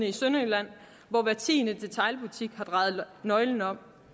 i sønderjylland hvor hver tiende detailbutik har drejet nøglen om